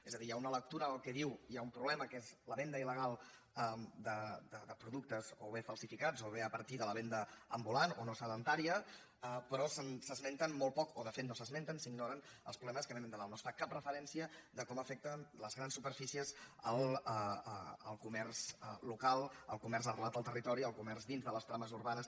és a dir hi ha una lectura que diu que hi ha un problema que és la venda ilvenda ambulant o no sedentària però s’esmenten molt poc o de fet no s’esmenten s’ignoren els problemes que vénen de dalt no es fa cap referència a com afecten les grans superfícies el comerç local el comerç arrelat al territori el comerç dins de les trames urbanes